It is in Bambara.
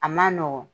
A man nɔgɔn